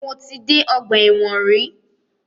Mo ti dé ọgbà ẹ̀wọ̀n rí.